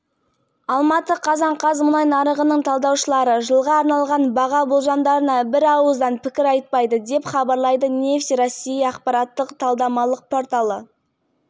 маркалы мұнай бағасы қыркүйек айының соңында өзінің жылдық деңгейін жоғарылатты содан кейін баррелдің құны долларға дейін